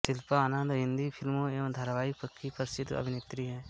शिल्पा आनंद हिन्दी फिल्मों एवं धाराविकों की प्रसिद्ध अभिनेत्री हैं